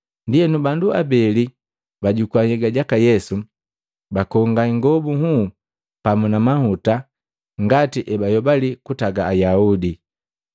Ndienu bandu abeli bajukua nhyega jaka Yesu, bakonga ingobu nhuu pamu na mahuta ngati ebayobali kutaga Ayaudi.